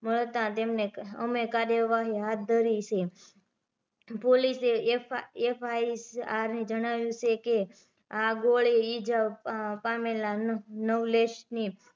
મળતા તેમને અમે કાર્યવાહી હાથ ધરી છે પોલીસએ FIR ને જણાવ્યું છે કે આ ગોળી ઇજા પામેલા નવલેશ ની